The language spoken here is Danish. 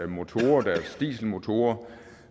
motorer deres dieselmotorer